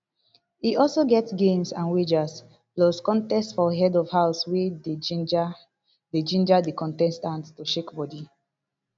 e also get games and wagers plus contest for head of house wey dey ginger dey ginger di contestants to shake bodi